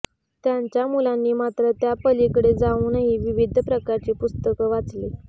त्यांच्या मुलांनी मात्र त्यापलीकडे जाऊनही विविध प्रकारची पुस्तकं वाचली